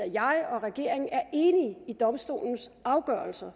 jeg og regeringen er enige i domstolens afgørelser